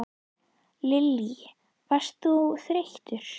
Lillý: Varst þú þreyttur?